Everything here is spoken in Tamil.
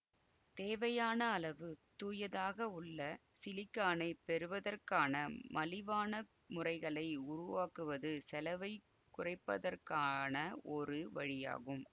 தேவையான அளவு தூயதாக உள்ள சிலிக்கானைப் பெறுவதற்கான மலிவான முறைகளை உருவாக்குவது செலவைக் குறைப்பதற்கான ஒரு வழியாகும்